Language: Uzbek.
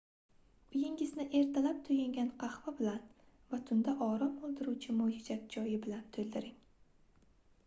uyingizni ertalab toʻyingan qahva bilan va tunda orom oldiruvchi moychechak choyi bilan toʻldiring